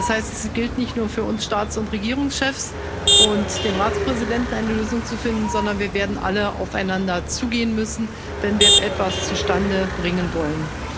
Das heißt, es gilt nicht nur für uns Staats und Regierungschefs und den Ratspräsidenten, eine Lösung zu finden, sondern wir werden alle aufeinander zugehen müssen, wenn wir etwas zustande bringen wollen.